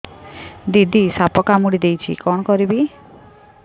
ଦିଦି ସାପ କାମୁଡି ଦେଇଛି କଣ କରିବି